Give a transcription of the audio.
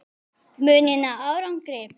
Mun ég ná árangri?